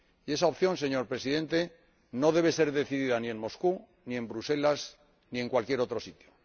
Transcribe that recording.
Y esa opción, señor Presidente, no debe ser decidida ni en Moscú ni en Bruselas ni en cualquier otro sitio.